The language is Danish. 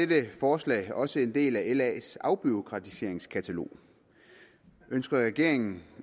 dette forslag også en del af las afbureaukratiseringskatalog ønsker regeringen